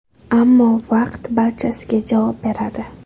Ammo vaqt barchasiga javob beradi.